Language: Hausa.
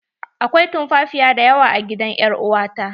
Akwai tumfafiya dayawa a gidan er uwa ta.